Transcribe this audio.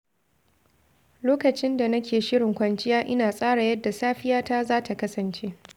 Lokacin da nake shirin kwanciya, ina tsara yadda safiyata za ta kasance.